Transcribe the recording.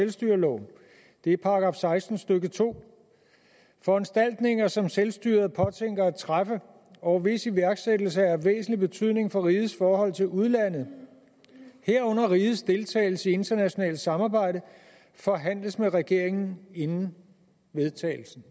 selvstyreloven det er § seksten stykke 2 foranstaltninger som selvstyret påtænker at træffe og hvis iværksættelse er af væsentlig betydning for rigets forhold til udlandet herunder rigets deltagelse i internationalt samarbejde forhandles med regeringen inden vedtagelsen